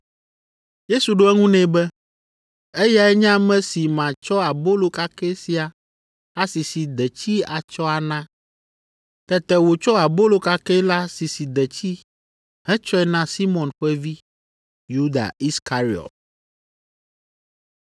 Yesu ɖo eŋu nɛ be, “Eyae nye ame si matsɔ abolo kakɛ sia asisi detsi atsɔ ana.” Tete wòtsɔ abolo kakɛ la sisi detsi hetsɔe na Simɔn ƒe vi, Yuda Iskariɔt.